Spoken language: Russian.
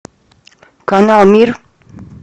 канал мир